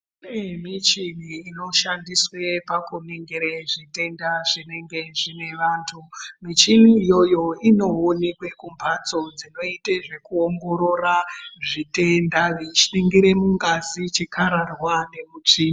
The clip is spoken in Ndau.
Kune michini inoshandiswe pakuningire zvitenda zvinenge zvine vantu muchini iyoyo inoonekwe kumhatso dzinoite zvekuoongorora zvitenda veiningire mungazi chikararwa nemutsvi.